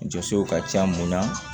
Jɔsow ka ca mun na